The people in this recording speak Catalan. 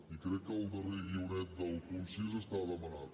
i crec que el darrer guionet del punt sis està demanat